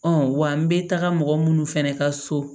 wa n bɛ taga mɔgɔ minnu fɛnɛ ka so